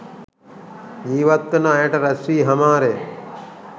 ජීිවත් වන අයට රැස්වී හමාරය.